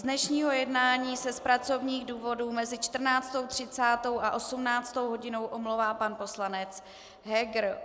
Z dnešního jednání se z pracovních důvodů mezi 14.30 až 18. hodinou omlouvá pan poslanec Heger.